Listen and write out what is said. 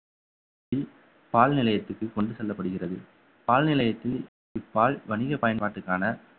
ஏற்றி பால் நிலையத்திற்கு கொண்டு செல்லப்படுகிறது பால் நிலையத்தில் பால் வணிக பயன்பாட்டுக்கான